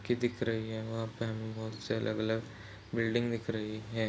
कि दिख रही है वहाँ पे हमें बहुत से अलग -अलग बिल्डिंग दिख रही हैं।